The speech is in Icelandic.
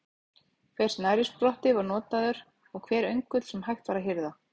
Hver snærisspotti var notaður og hver öngull sem hægt var að hirða.